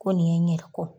Ko nin ye n yɛrɛ kɔ